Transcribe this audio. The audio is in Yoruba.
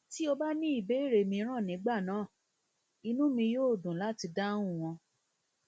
tí o bá ní ìbéèrè mìíràn nígbà náà inú mi yóò dùn láti dáhùn wọn